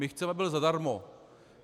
My chceme, aby byl zadarmo.